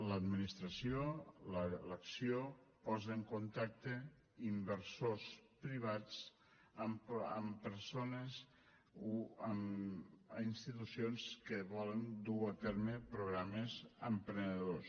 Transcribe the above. l’administració l’acció posa en contacte inversors privats amb persones o amb institucions que volen dur a terme programes emprenedors